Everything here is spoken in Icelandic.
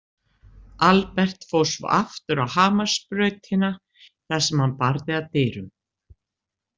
Albert fór svo aftur á Hamarsbrautina, þar sem hann barði að dyrum.